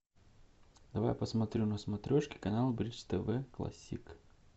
давай посмотрю на смотрешке канал бридж тв классик